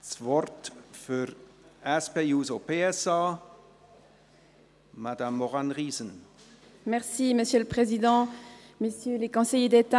Das Wort für die SP-JUSO-PSA-Fraktion hat Madame Maurane Riesen.